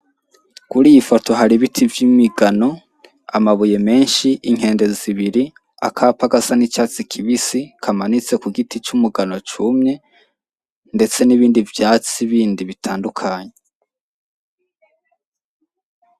Kuri iyi foto hari ibiti vy'imigano amabuye menshi inkende zibiri akapa gasa n'icatsi kibisi kamanitse ku giti c'umugano cumye ndetse n'ibindi vyatsi bindi bitandukanye